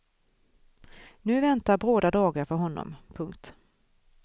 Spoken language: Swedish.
Nu väntar bråda dagar för honom. punkt